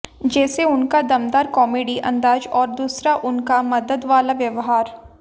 जैसे उनका दमदार कॉमेडी अंदाज और दूसरा उनका मदद वाला व्यवहार